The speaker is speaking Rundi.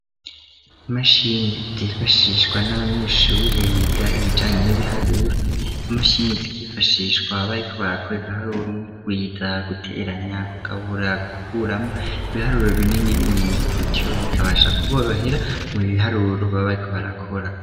Imashini zifashishwa n'abanyeshuri biga ibijanye n'ibiharuro, izo mashini zikifashishwa bariko barakora ibiharuro nko kugwiza, guteranya, kugabura, gukuramwo, ibiharuro binini binini gutyo bikabasha kuborohera mu biharuro baba bariko barakora.